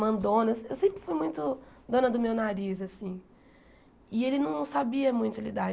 mandona, eu eu sempre fui muito dona do meu nariz assim e ele não sabia muito lidar.